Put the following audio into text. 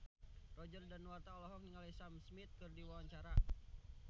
Roger Danuarta olohok ningali Sam Smith keur diwawancara